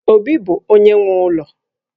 Obi bụ onye nwe ụlọ